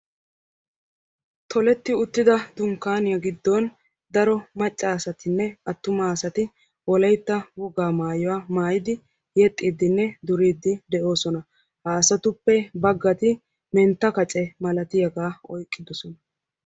Tolettidda uttidda dunkkanniya giddon maca asattinne atumma duriddinne kaa'iddi de'osonna. Ha asattuppe bagatti mentta qaccee malatiyaaga oyqqidosonna.